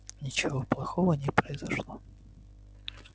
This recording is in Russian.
ничего плохого не произошло